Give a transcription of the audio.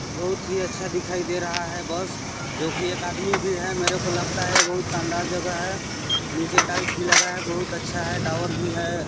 बहुत ही अच्छा दिखाई दे रहा है बस जो की एक आदमी भी है मेरे को लगता है बहुत शानदार जगह है नीचे टाइल्स भी लगा है बहुत अच्छा है टॉवर भी है।